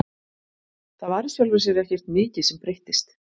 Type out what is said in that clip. Það var í sjálfu sér ekkert mikið sem breyttist.